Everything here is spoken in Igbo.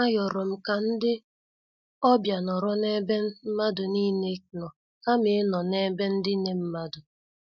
A yorom ka ndị ọbịa nọrọ n'ebe mmadụ niile nọ kama ịnọ n' ebe ndine mmadụ.